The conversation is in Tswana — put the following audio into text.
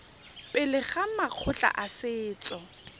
pele ga makgotla a setso